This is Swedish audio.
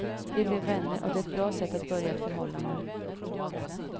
Vi blev vänner och det är ett bra sätt att börja ett förhållande.